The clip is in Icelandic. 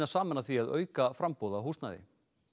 saman að því að auka framboð á húsnæði